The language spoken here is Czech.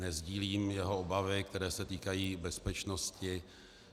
Nesdílím jeho obavy, které se týkají bezpečnosti.